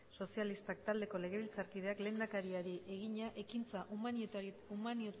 sozialistak taldeko legebiltzarkideak lehendakariari egina ekintza